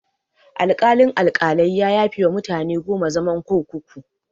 Alkalin-Alkalai ya yafewa mutane goma zaman kurkuku.